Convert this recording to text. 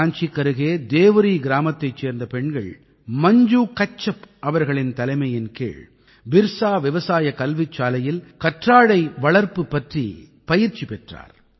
ராஞ்சிக்கருகே தேவரீ கிராமத்தைச் சேர்ந்த பெண்கள் மஞ்சு கச்சப் அவர்களின் தலைமையின் கீழ் பிர்ஸா விவசாய கல்விசாலையில் கற்றாழை வளர்ப்பு பற்றி பயிற்சி பெற்றார்